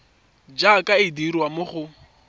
jaaka e dirwa mo go